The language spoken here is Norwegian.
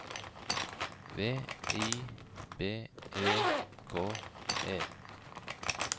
V I B E K E